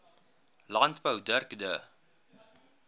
landbou dirk du